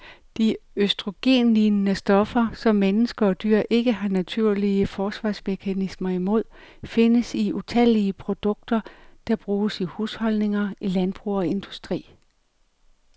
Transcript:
De østrogenlignende stoffer, som mennesker og dyr ikke har naturlige forsvarsmekanismer imod, findes i utallige produkter, der bruges i husholdninger, i landbrug og industri.